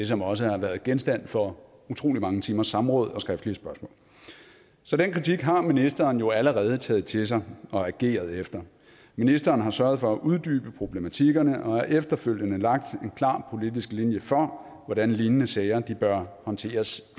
som også har været genstand for utrolig mange timers samråd og skriftlige spørgsmål så den kritik har ministeren jo allerede taget til sig og ageret efter ministeren har sørget for at uddybe problematikkerne og har efterfølgende lagt en klar politisk linje for hvordan lignende sager bør håndteres